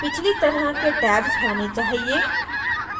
पिछली तरह के tabs होने चाहिए